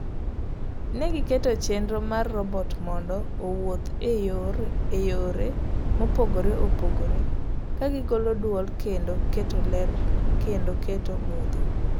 Negiketo chenro mar robot mondo owuoth eyore mopogre opogre ,kagigolo duol kendo keto ler kendo keto mudho.